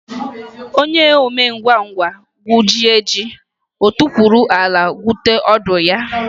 Onye omengwangwa gwujie ji, o tukwuru ala gwute ọdụ ya.